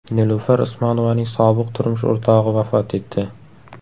Nilufar Usmonovaning sobiq turmush o‘rtog‘i vafot etdi.